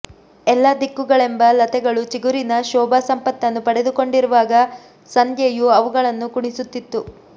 ಎಲ್ಲ ದಿಕ್ಕುಗಳೆಂಬ ಲತೆಗಳು ಚಿಗುರಿನ ಶೋಭಾ ಸಂಪತ್ತನ್ನು ಪಡೆದುಕೊಂಡಿರುವಾಗ ಸಂಧ್ಯೆಯು ಅವುಗಳನ್ನು ಕುಣಿಸುತ್ತಿತ್ತು